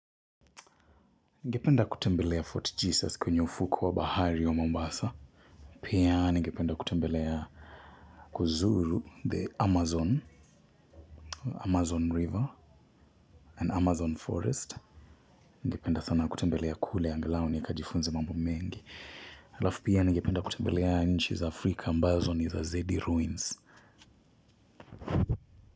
Ningependa kutembelea Fort Jesus kwenye ufukwe wa bahari wa Mombasa. Pia ningependa kutembelea, kuzuru the Amazon, Amazon river na Amazon forest. Ningependa sana kutembelea kule angalao nikajifunze mambo mengi. Alafu pia ningependa kutembelea nchi za Africa ambazo ni za Z-ruins.